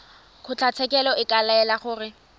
kgotlatshekelo e ka laela gore